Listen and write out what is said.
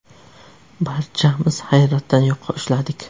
Barchamiz hayratdan yoqa ushladik.